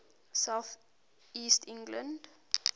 south east england